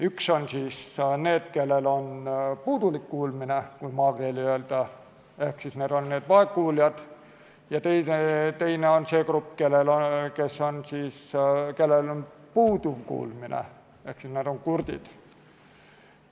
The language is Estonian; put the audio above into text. Üks on need, kellel on puudulik kuulmine, kui maakeeli öelda, need on vaegkuuljad, ja teine on see grupp, kellel on puuduv kuulmine ehk nad on kurdid.